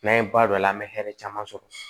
N'an ye ba don a la an bɛ hɛrɛ caman sɔrɔ